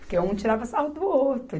Porque um tirava sarro do outro.